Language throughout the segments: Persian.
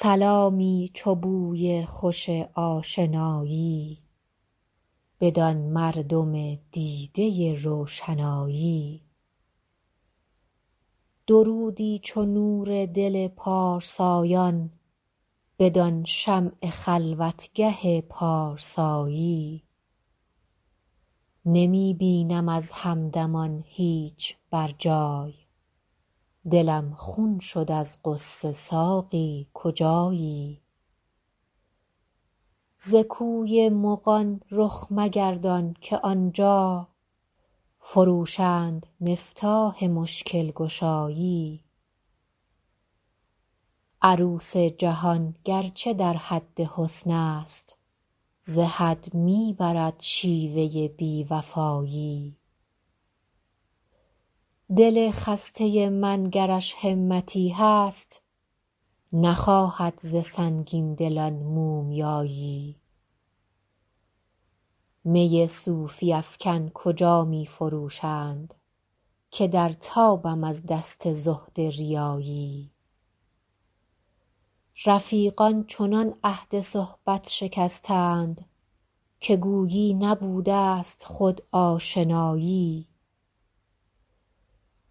سلامی چو بوی خوش آشنایی بدان مردم دیده روشنایی درودی چو نور دل پارسایان بدان شمع خلوتگه پارسایی نمی بینم از همدمان هیچ بر جای دلم خون شد از غصه ساقی کجایی ز کوی مغان رخ مگردان که آن جا فروشند مفتاح مشکل گشایی عروس جهان گر چه در حد حسن است ز حد می برد شیوه بی وفایی دل خسته من گرش همتی هست نخواهد ز سنگین دلان مومیایی می صوفی افکن کجا می فروشند که در تابم از دست زهد ریایی رفیقان چنان عهد صحبت شکستند که گویی نبوده ست خود آشنایی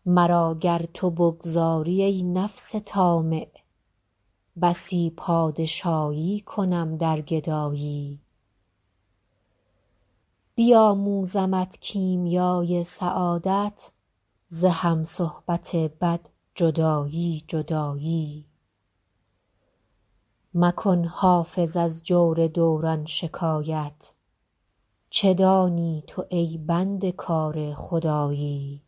مرا گر تو بگذاری, ای نفس طامع بسی پادشایی کنم در گدایی بیاموزمت کیمیای سعادت ز هم صحبت بد جدایی جدایی مکن حافظ از جور دوران شکایت چه دانی تو ای بنده کار خدایی